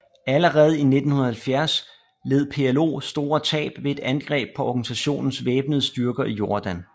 Allerede i 1970 led PLO store tab ved et angreb på organisationens væbnede styrker i Jordan